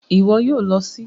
Ìwo yio lo sí